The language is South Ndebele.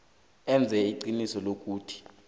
enze iqiniso lokuthi